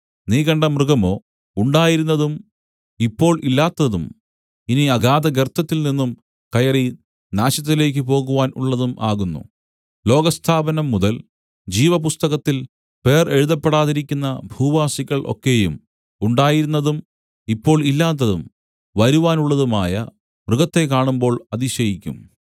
നീ കണ്ട മൃഗമോ ഉണ്ടായിരുന്നതും ഇപ്പോൾ ഇല്ലാത്തതും ഇനി അഗാധഗർത്തത്തിൽനിന്നും കയറി നാശത്തിലേക്കു പോകുവാൻ ഉള്ളതും ആകുന്നു ലോകസ്ഥാപനം മുതൽ ജീവപുസ്തകത്തിൽ പേർ എഴുതപ്പെടാതിരിക്കുന്ന ഭൂവാസികൾ ഒക്കെയും ഉണ്ടായിരുന്നതും ഇപ്പോൾ ഇല്ലാത്തതും വരുവാനുള്ളതുമായ മൃഗത്തെ കാണുമ്പോൾ അതിശയിക്കും